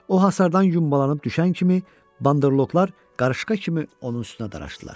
O hasardan yuvarlanıb düşən kimi Bandırloqlar qarışqa kimi onun üstünə daraşdılar.